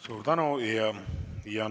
Suur tänu!